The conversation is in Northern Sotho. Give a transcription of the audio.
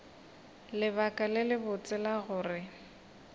lebaka le lebotse la gore